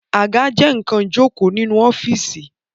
Àga jẹ nkan ìjókòó nínú ọ́fíìsì